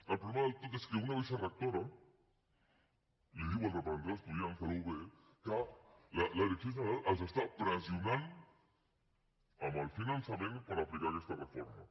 el problema del tot és que una vicerectora diu al representant d’estudiants de la ub que la direcció general els pressiona amb el finançament per aplicar aquesta reforma